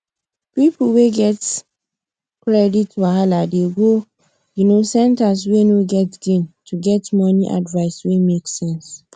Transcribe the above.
people wey get credit wahala dey go um centre way no get gain to get money advice wey make sense